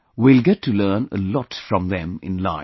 We will get to learn a lot from them in life